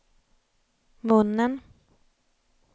munnen